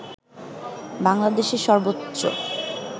বাংলাদেশের সর্বোচ্চ